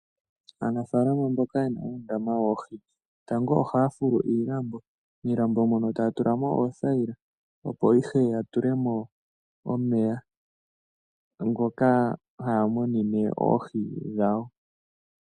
Aanafalama mboka ye na uundama woohi, tango ohaya fulu iilambo miilambo mono ohaya tula mo oothayila, opo ihe ya tule mo omeya ngoka haya munine oohi dhawo.